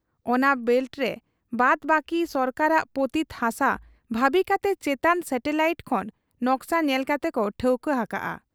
ᱚᱱᱟ ᱵᱮᱞᱴᱨᱮ ᱵᱟᱫᱽ ᱵᱟᱹᱠᱤᱫᱚ ᱥᱚᱨᱠᱟᱨᱤ ᱯᱚᱛᱤᱛ ᱦᱟᱥᱟ ᱵᱷᱟᱹᱵᱤ ᱠᱟᱛᱮ ᱪᱮᱛᱟᱱ ᱥᱮᱴᱞᱟᱭᱤᱴ ᱠᱷᱚᱱ ᱱᱚᱠᱥᱟ ᱧᱮᱞ ᱠᱟᱛᱮᱠᱚ ᱴᱷᱟᱹᱣᱠᱟᱹ ᱦᱟᱠᱟᱜ ᱟ ᱾